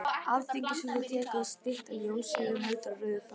Alþingishúsið tekið, stytta Jóns Sigurðssonar heldur á rauðum fána